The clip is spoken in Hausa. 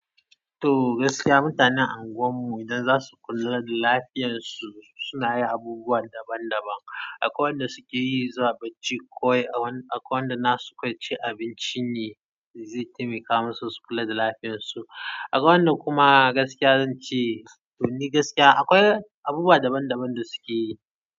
To gaskiya mutanen anguwan mu idan zasu kula da lafiyar su, suna yin abubuwa daban daban. Akwai wanda suke yi zuwa bacci kawai, akwai wanda nasu kawai cin abinci ne zai taimaka musu su kula da lafiyar su. Akwai wanda kuma gaskiya zance, don ni gaskiya akwai abubuwa daban daban da sukeyi.